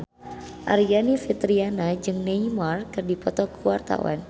Aryani Fitriana jeung Neymar keur dipoto ku wartawan